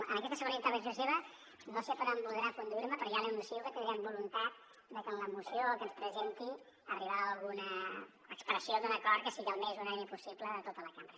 en aquesta segona intervenció seva no sé per on voldrà conduir me però ja li anuncio que tindrem voluntat de en la moció que ens presenti arribar a alguna expressió d’un acord que sigui el més unànime possible de tota la cambra